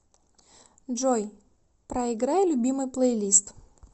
джой проиграй любимый плейлист